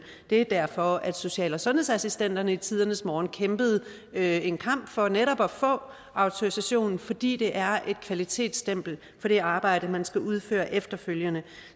det er derfor at social og sundhedsassistenterne i tidernes morgen kæmpede en kamp for netop at få autorisation fordi det er et kvalitetsstempel på det arbejde man skal udføre efterfølgende